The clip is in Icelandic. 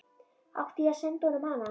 Átti ég að senda honum hana?